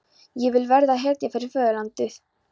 Ég vil verða hetja fyrir föðurlandið.